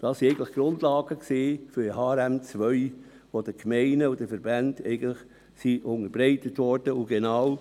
» Das waren eigentlich die Grundlagen für das Harmonisierte Rechnungslegungsmodell 2 (HRM2), die den Gemeinden und Verbänden unterbreitet wurden.